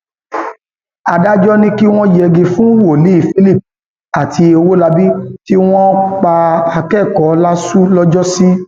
adájọ ní kí wọn yẹgi fún wòlíì philip àti ọwólábí tí wọn pa akẹkọọ láṣù lọjọsí